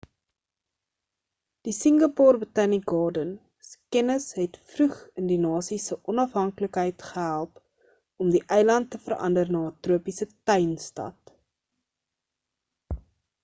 die singapore botanic garden se kennis het vroeg in die nasie se onafhanlikheid gehelp om die eiland te verander na 'n tropiese tuin stad